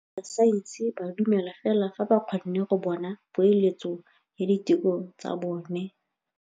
Borra saense ba dumela fela fa ba kgonne go bona poeletsô ya diteko tsa bone.